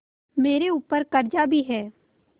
मेरे ऊपर कर्जा भी है